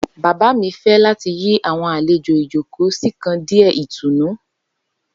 Baba mi fẹ lati yi awọn alejo ijoko si kan diẹ itunu.